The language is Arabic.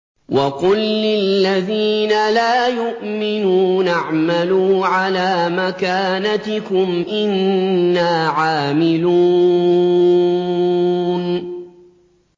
وَقُل لِّلَّذِينَ لَا يُؤْمِنُونَ اعْمَلُوا عَلَىٰ مَكَانَتِكُمْ إِنَّا عَامِلُونَ